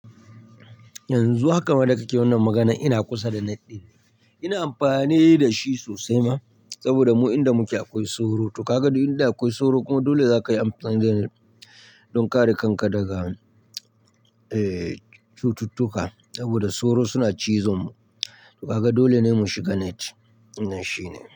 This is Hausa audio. Yanzu haka ma da kake wannan maganan ina kusa da net ɗin ne, ina amfani da shi sosai ma saboda mu inda muke akwai sauro. To ka ga duk inda akwai sauro kuma dole za ka yi amfani da net don kare kanka daga, eh, cututtuka saboda sauro suna cizon mu. To Ka ga dole ne mu shiga net, wannan shi ne.